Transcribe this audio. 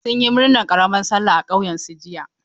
Sun yi murnar karamar sallah a ƙauyen su jiya.